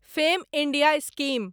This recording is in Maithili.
fame India scheme